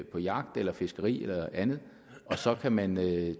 på jagt eller fiskeri eller andet og så kan man tage